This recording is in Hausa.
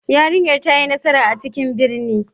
Yarinyar ta yi nasara a cikin birni.